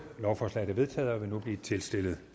lovforslaget er vedtaget og vil nu blive tilstillet